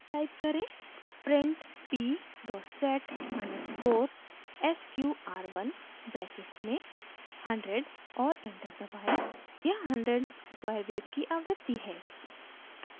type करें: print p set _ sqr1 brackets में 100 और enter दबाएँ यहाँ 100 square wave की आवृत्ति है